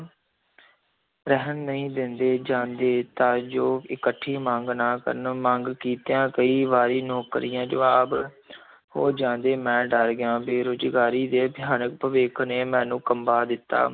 ਰਹਿਣ ਨਹੀਂ ਦਿੰਦੇ ਜਾਂਦੇ ਤਾਂ ਜੋ ਇਕੱਠੀ ਮੰਗ ਨਾ ਕਰਨ, ਮੰਗ ਕੀਤਿਆਂ ਕਈ ਵਾਰੀ ਨੌਕਰੀਆਂ ਜਵਾਬ ਹੋ ਜਾਂਦੇ, ਮੈਂ ਡਰ ਗਿਆ, ਬੇਰੁਜ਼ਗਾਰੀ ਦੇ ਭਿਆਨਕ ਭਵਿਖ ਨੇ ਮੈਨੂੰ ਕੰਬਾ ਦਿੱਤਾ।